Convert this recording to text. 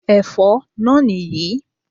Ẹ̀fọ́ náà nì yí